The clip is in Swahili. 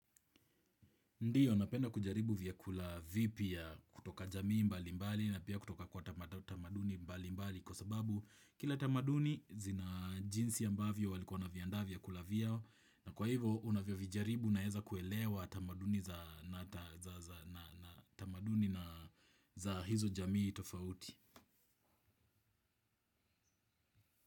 Ndio, napenda kujaribu vyakula vipya kutoka jamii mbali mbali na pia kutoka kwa tamaduni mbali mbali kwa sababu kila tamaduni zina jinsi ambavyo walikuwa wana viandaa vyakula vyao na kwa hivyo unavyo vijaribu unaweza kuelewa tamaduni za hizo jamii tofauti.